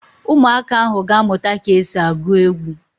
Ụmụaka ahụ ga-amụta ka e si agụ egwu